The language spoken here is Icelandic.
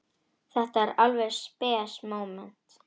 Þetta var alveg spes móment.